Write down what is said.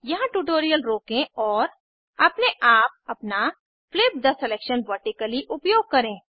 यहाँ ट्यूटोरियल रोकें और अपने आप अपना फ्लिप थे सिलेक्शन वर्टिकली उपयोग करें